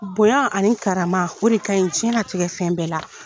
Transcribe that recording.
Bonya ani karama o de ka ɲi jiyɛn latigɛ fɛn bɛɛ la.